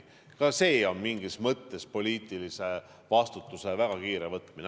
Ka see on mingis mõttes poliitilise vastutuse väga kiire võtmine.